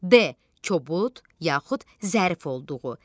D. kobud yaxud zərif olduğu.